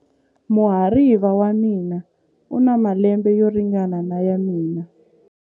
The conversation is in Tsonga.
Muhariva wa mina u na malembe yo ringana na ya mina.